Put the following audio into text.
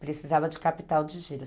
Precisava de capital de giro.